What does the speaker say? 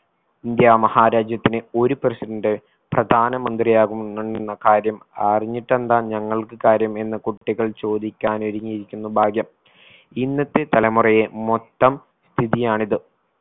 India മഹാരാജ്യത്തിന് ഒരു president പ്രധാനമന്ത്രിയാകുന്നെന്ന കാര്യം അറിഞ്ഞിട്ടെന്താ നങ്ങൾക്ക് കാര്യം എന്ന് കുട്ടികൾ ചോദിക്കാൻ ഒരുങ്ങിയിരിക്കുന്നു ഭാഗ്യം ഇന്നത്തെ തലമുറയെ മൊത്തം സ്ഥിതിയായാണിത്